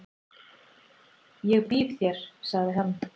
"""Ég býð þér, sagði hann."""